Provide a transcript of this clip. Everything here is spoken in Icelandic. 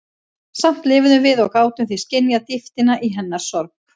Samt lifðum við og gátum því skynjað dýptina í hennar sorg.